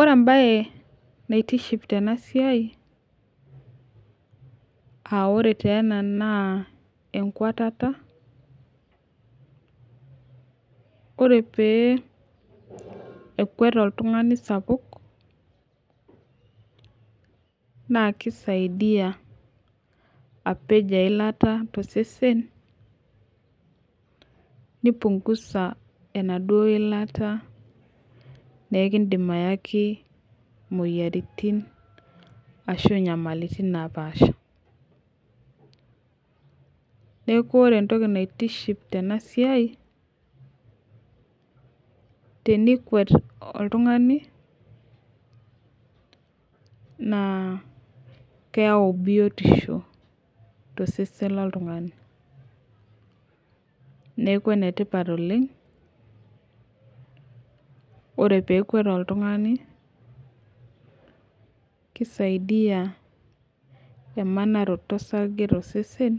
Ore mbae naitiship Tena siai aa ore ena naa enkwatata ore pekwet oltung'ani sapuk naa keisaidia apej eilata too sesen nipunhuza enaduo yilata neekidin ayaki moyiaritin ashu nyamalitin naapasha neeku ore entoki naitiship Tena siai tenikwet oltung'ani naa keyau biotisho too sesen loo oltung'ani neeku enetipata oleng ore pee ekwet oltung'ani kisaidai emanaroti osarge too sesen